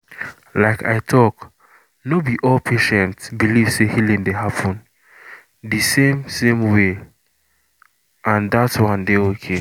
like i talk no be all patient believe say healing dey happen the same same way and that one dey okay.